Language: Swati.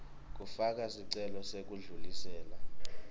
kufaka sicelo sekudlulisela